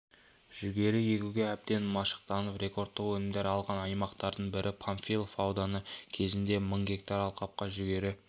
жүгері егуге әбден машықтанып рекордтық өнімдер алған аймақтардың бірі панфилов ауданы кезінде мың гектар алқапқа жүгері